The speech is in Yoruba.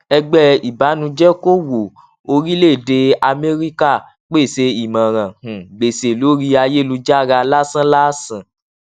ẹgbẹ ìbànújẹkòwó orílẹèdè amẹríkà pèsè ìmọràn um gbèsè lórí ayélujára lásánlàsán